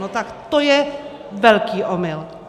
No tak to je velký omyl!